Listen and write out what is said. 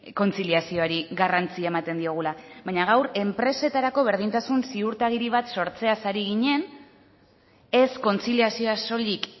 kontziliazioari garrantzia ematen diogula baina gaur enpresetarako berdintasun ziurtagiri bat sortzeaz ari ginen ez kontziliazioa soilik